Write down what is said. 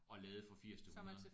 Og lade fra 80 til 100